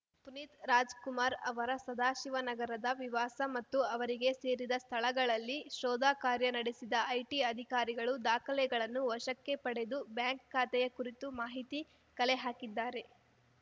ಪುನೀತ್‌ ರಾಜ್‌ ಕುಮಾರ್‌ ಅವರ ಸದಾಶಿವನಗರದ ವಿವಾಸ ಮತ್ತು ಅವರಿಗೆ ಸೇರಿದ ಸ್ಥಳಗಳಲ್ಲಿ ಶೋಧ ಕಾರ್ಯ ನಡೆಸಿದ ಐಟಿ ಅಧಿಕಾರಿಗಳು ದಾಖಲೆಗಳನ್ನು ವಶಕ್ಕೆ ಪಡೆದು ಬ್ಯಾಂಕ್‌ ಖಾತೆಯ ಕುರಿತು ಮಾಹಿತಿ ಕಲೆ ಹಾಕಿದ್ದಾರೆ